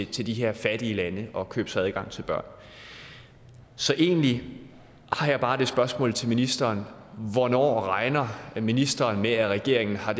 til de her fattige lande og købe sig adgang til børn så egentlig har jeg bare det spørgsmål til ministeren hvornår regner ministeren med at regeringen har